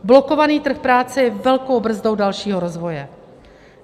Blokovaný trh práce je velkou brzdou dalšího rozvoje.